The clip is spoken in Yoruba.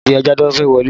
Dìde adájọ́ fẹ́ wọlé!